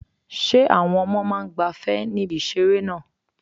Ṣé àwọn ọmọ náà ń gbafẹ́ ní ibi ìseré náà?